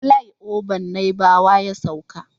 Filai oban naibawa ya sauka